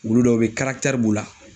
Wulu dɔw be yen b'u la.